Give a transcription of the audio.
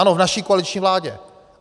Ano, v naší koaliční vládě.